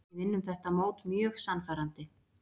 Við vinnum þetta mót mjög sannfærandi.